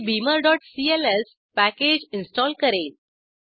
ते beamerसीएलएस package install करेल